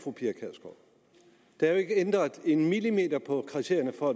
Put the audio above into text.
der er jo ikke ændret en millimeter på kriterierne for